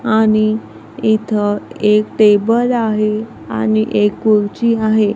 आणि इथं एक टेबल आहे आणि एक कूर्ची आहे.